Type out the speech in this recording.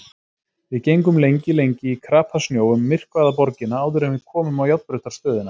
Við gengum lengi lengi í krapasnjó um myrkvaða borgina áður en við komum á járnbrautarstöðina.